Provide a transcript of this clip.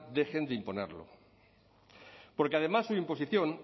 dejen de imponerlo porque además su imposición